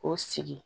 K'o sigi